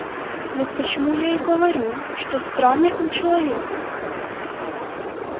вот почему я и говорю что странный он человек